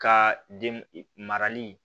Ka den marali